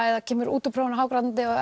eða kemur út úr prófinu hágrátandi